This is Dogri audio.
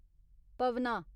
पवना